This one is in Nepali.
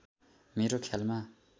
मेरो ख्यालमा